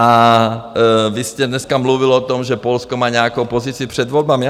A vy jste dneska mluvil o tom, že Polsko má nějakou pozici před volbami.